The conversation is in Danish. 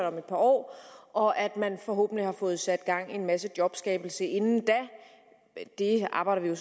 om et par år og at man forhåbentlig har fået sat gang i en masse jobskabelse inden da det arbejder vi jo